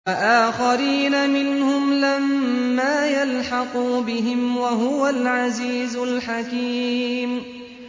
وَآخَرِينَ مِنْهُمْ لَمَّا يَلْحَقُوا بِهِمْ ۚ وَهُوَ الْعَزِيزُ الْحَكِيمُ